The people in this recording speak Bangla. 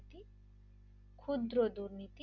ক্ষুদ্র দুর্নীতি